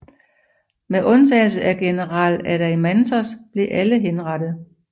Med undtagelse af general Adeimantos blev alle henrettet